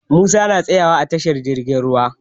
Musa na tsaya wa a tashi jirgin ruwa.